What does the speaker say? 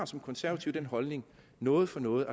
som konservative har holdningen noget for noget